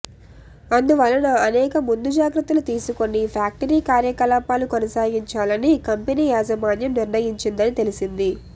అందువలన అనేక ముందు జాగ్రత్తలు తీసుకుని ఫ్యాక్టరీ కార్యకలాపాలు కొనసాగించాలని కంపెనీ యాజమాన్యం నిర్ణయించిందని తెలిసింది